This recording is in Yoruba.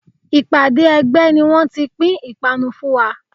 Ìpàdé ẹgbẹ́ ni wón ti pín ipanu fún wa.